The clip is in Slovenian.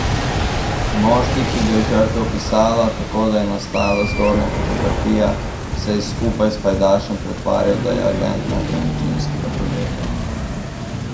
Moški, ki ga je žrtev opisala tako, da je nastala zgornja fotografija, se je skupaj s pajdašem pretvarjal, da je agent nepremičninskega podjetja.